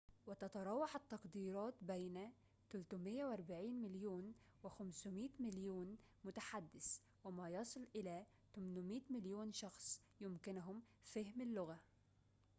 وتتراوح التقديرات بين 340 مليون و500 مليون متحدث وما يصل إلى 800 مليون شخص يمكنهم فهم اللغة